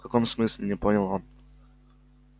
в каком смысле не понял он